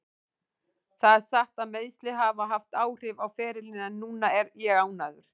Það er satt að meiðsli hafa haft áhrif á ferilinn en núna er ég ánægður.